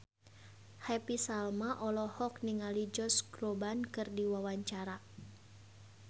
Happy Salma olohok ningali Josh Groban keur diwawancara